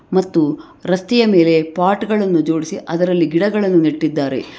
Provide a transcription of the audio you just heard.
ಮತ್ತು ರಸ್ತೆಯ ಮೇಲೆ ಪಾಟ್ ಗಳನ್ನು ಜೋಡಿಸಿ ಅದರಲ್ಲಿ ಗಿಡಗಳನ್ನು ನೆಟ್ಟಿದಾರೆ.